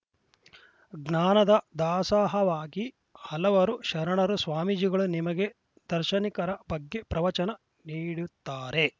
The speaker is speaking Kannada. ಜ್ಞಾನದ ದಾಸಹವಾಗಿ ಹಲವರು ಶರಣರು ಸ್ವಾಮೀಜಿಗಳು ನಿಮಗೆ ದಾರ್ಶನಿಕರ ಬಗ್ಗೆ ಪ್ರವಚನ ನೀಡುತ್ತಾರೆ